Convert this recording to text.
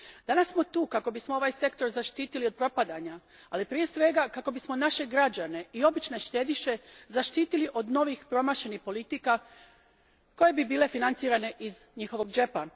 Danas smo tu kako bismo ovaj sektor zaštitili od propadanja, ali prije svega kako bismo naše građane i obične štediše zaštitili od novih promašenih politika koje bi bile financirane iz njihovog džepa.